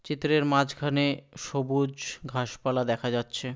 চিত্রের মাঝখানে সবুজ ঘাসপালা দেখা যাচ্ছে।